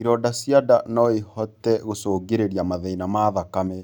Ironda cia ndaa noĩhote gũcũngĩrĩrĩa mathĩna ma thakame.